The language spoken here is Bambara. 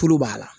Tulu b'a la